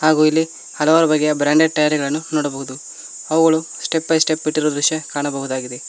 ಹಾಗು ಇಲ್ಲಿ ಹಲವಾರು ಬ್ರಾಂಡೆಡ್ ಟೈಯರ್ ಗಳನ್ನು ನೋಡಬಹುದು ಅವುಗಳು ಸ್ಟೆಪ್ ಬೈ ಸ್ಟೆಪ್ ಇಟ್ಟಿರುವ ದೃಶ್ಯವನ್ನು ಕಾಣಬಹುದಾಗಿದೆ.